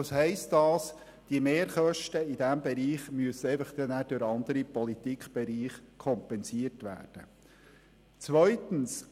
Zudem heisst das, dass die Mehrkosten in diesem Bereich dann in anderen Politikbereichen kompensiert werden müssen.